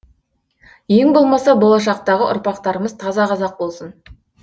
ең болмаса болашақтағы ұрпақтарымыз таза қазақ болсын